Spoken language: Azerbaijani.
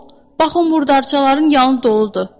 Bax o murdarçaların yanı doludur.